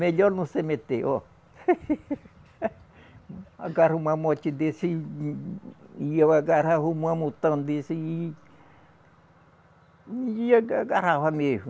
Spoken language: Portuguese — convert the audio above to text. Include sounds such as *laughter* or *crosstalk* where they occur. Melhor não se meter, ó. *laughs* Agarra um mamote desse e eu agarrava um mamotão desse e e aga agarrava mesmo.